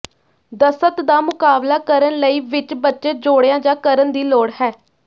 ਦਸਤ ਦਾ ਮੁਕਾਬਲਾ ਕਰਨ ਲਈ ਵਿੱਚ ਬੱਚੇ ਜੋੜਿਆ ਜਾ ਕਰਨ ਦੀ ਲੋੜ ਹੈ